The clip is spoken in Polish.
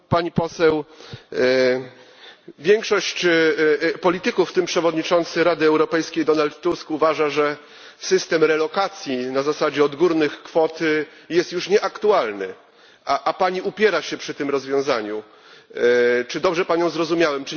Pani Poseł, większość polityków, w tym przewodniczący Rady Europejskiej Donald Tusk, uważa, że system relokacji na zasadzie odgórnych kwot jest już nieaktualny, a Pani upiera się przy tym rozwiązaniu czy dobrze Panią zrozumiałem?